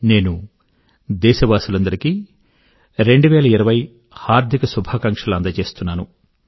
నేను దేశవాసులందరికీ 2020 హార్ధిక శుభాకాంక్షలను అందజేస్తున్నాను